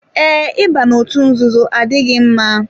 Ee, Ị ba n'otu nzuzo adịghị mma.